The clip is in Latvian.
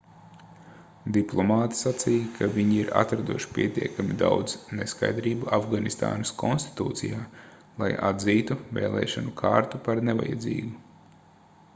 diplomāti sacīja ka viņi ir atraduši pietiekami daudz neskaidrību afganistānas konstitūcijā lai atzītu vēlēšanu kārtu par nevajadzīgu